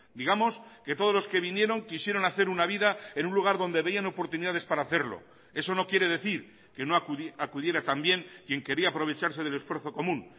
digamos que todos los que vinieron quisieron hacer una vida en un lugar donde veían oportunidades para hacerlo eso no quiere decir que no acudiera también quien quería aprovecharse del esfuerzo común